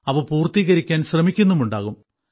അവ പൂർത്തീകരിക്കാൻ ശ്രമിക്കുന്നുമുണ്ടാകും